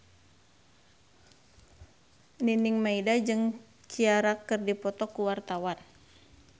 Nining Meida jeung Ciara keur dipoto ku wartawan